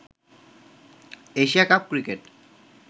Asia cup cricket